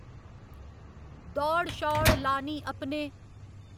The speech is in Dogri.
दौड़ शौड़ लानी अपने